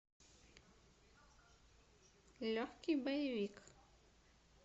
легкий боевик